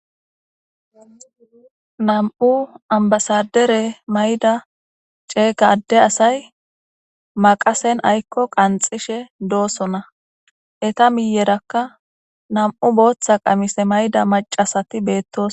Namu'u amibasadare mayida cegga ade assayi maqasseni ayiko qanixishe dosona etta miyeraka nam'u botha qamise mayida maccasati betosona